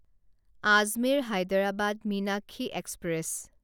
Ajmer Hyderabad Meenakshi express